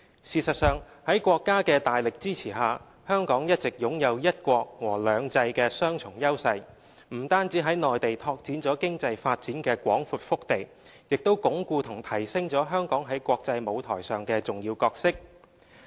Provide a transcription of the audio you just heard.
事實上，在國家的大力支持下，香港一直擁有"一國"和"兩制"的雙重優勢，不僅在內地拓展了經濟發展的廣闊腹地，也鞏固和提升了香港在國際舞台上的重要角色。